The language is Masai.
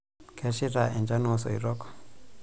Kesheita enchan oosoitok.